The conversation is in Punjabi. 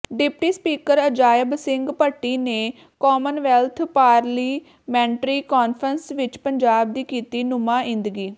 ਡਿਪਟੀ ਸਪੀਕਰ ਅਜਾਇਬ ਸਿੰਘ ਭੱਟੀ ਨੇ ਕਾਮਨਵੈਲਥ ਪਾਰਲੀਮੈਂਟਰੀ ਕਾਨਫ਼ਰੰਸ ਵਿਚ ਪੰਜਾਬ ਦੀ ਕੀਤੀ ਨੁਮਾਇੰਦਗੀ